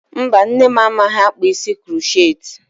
Mba, nne m amaghị akpa isi kuroceti.